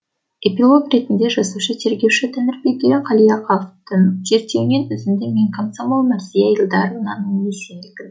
эпилог ретінде жазушы тергеуші тәңірберген қалиаховтың зерттеуінен үзінді мен комсомол мәрзия илдаровнаның естелігі